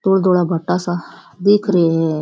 धोला धोला भाटा सा दिख रे है।